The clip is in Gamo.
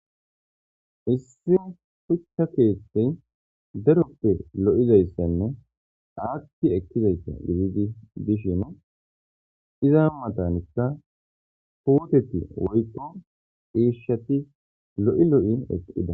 Issi shucha keethene daro kethe lo'izaysa gidishin iza matanka puteti woyko cishati lo'i lo'i eqida